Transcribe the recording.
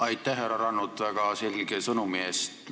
Aitäh, härra Rannut, väga selge sõnumi eest!